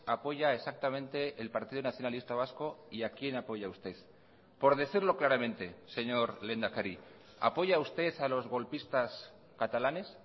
apoya exactamente el partido nacionalista vasco y a quién apoya usted por decirlo claramente señor lehendakari apoya usted a los golpistas catalanes